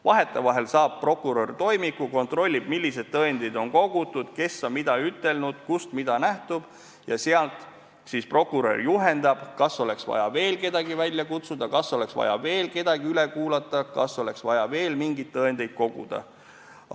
Vahetevahel saab prokurör toimiku, kontrollib, millised tõendid on kogutud, kes on mida ütelnud, kust mida nähtub, ja siis prokurör juhendab, kas oleks vaja veel kedagi välja kutsuda, kas oleks vaja veel kedagi üle kuulata, kas oleks vaja veel mingeid tõendeid koguda.